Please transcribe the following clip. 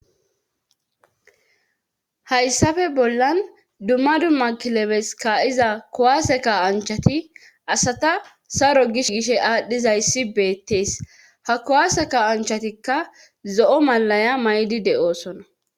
Hayssafe bollan dumma dumma kilebes ka iza kowase ka7anchati asata saro gish gishe aadhdhizayssi beettes ha kowase kawanchatikka zo7o malaya maydi de7oosona.